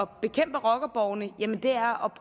bekæmpe rockerborgene er